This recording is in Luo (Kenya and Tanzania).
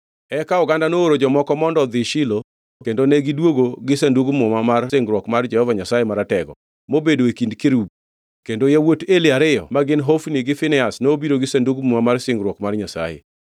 Eka oganda nooro jomoko mondo odhi Shilo kendo negidwogo gi Sandug Muma mar Singruok mar Jehova Nyasaye Maratego, mobedo e kind kerubi. Kendo yawuot Eli ariyo ma gin Hofni gi Finehas nobiro gi Sandug Muma mar Singruok mar Nyasaye.